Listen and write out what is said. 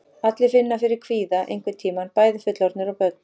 Allir finna fyrir kvíða einhvern tíma, bæði fullorðnir og börn.